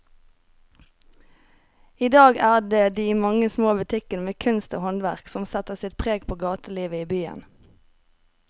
I dag er det de mange små butikkene med kunst og håndverk som setter sitt preg på gatelivet i byen.